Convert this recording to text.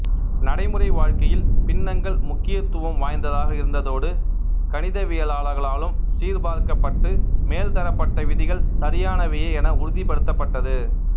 நடைமுறை வாழ்க்கையில் பின்னங்கள் முக்கியத்துவம் வாய்ந்ததாக இருந்ததோடு கணிதவியலாளர்களாலும் சீர்பார்க்கப்பட்டு மேல்தரப்பட்ட விதிகள் சரியானவையே என உறுதிப்படுத்தப்பட்டது